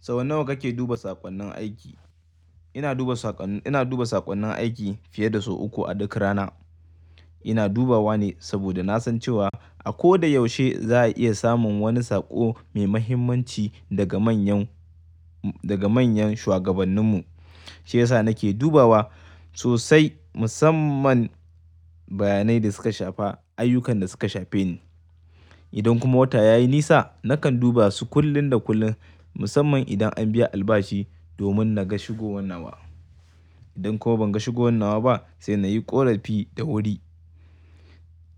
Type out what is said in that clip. Sau nawa kake duba saƙonnin aiki? Ina duba saƙonnin, ina duba saƙonnin aiki fiye da sau uku a duk rana. Ina dubawa ne saboda na san cewa a ko da yaushe za a iya samun wani saƙo mai mahimmanci daga manyan, daga manyan shugabanninmu. Shi ya sa nake dubawa sosai musamman bayanai da suka shafa ayyukan da suka shafa ni. Idan kuma wata ya yi nisa nakan duba su kullun da kullun musamman idan an biya albashi domin na ga shigo wannanawa. Idan kuma ban ga shigo wannanawa ba sai na yi ƙorafi da wuri.